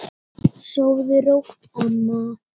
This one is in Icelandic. Sofðu rótt, amma.